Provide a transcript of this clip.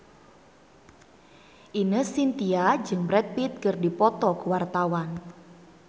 Ine Shintya jeung Brad Pitt keur dipoto ku wartawan